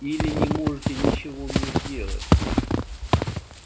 или не можете ничего мне сделать